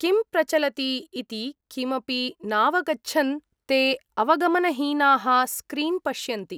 किं प्रचलति इति किमपि नावगच्छन् ते अवगमनहीनाः स्क्रीन् पश्यन्ति।